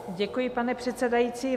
Děkuji, pane předsedající.